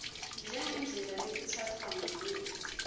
njengendlela lekutsatfwa ngayo